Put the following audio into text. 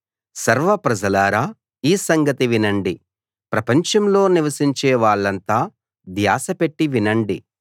సర్వ ప్రజలారా ఈ సంగతి వినండి ప్రపంచంలో నివసించే వాళ్ళంతా ధ్యాస పెట్టి వినండి